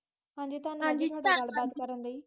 ਹਨਜੀ, ਤਾਂਵਾਦ ਗੱਲ ਕਰਨ ਲਾਇ